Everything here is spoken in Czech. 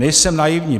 Nejsem naivní.